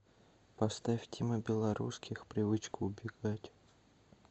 поставь тима белорусских привычка убегать